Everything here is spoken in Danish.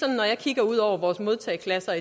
jeg kigger ud over vores modtageklasser